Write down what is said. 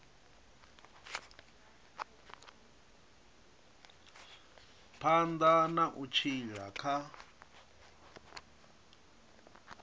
phanḓa na u tshila kha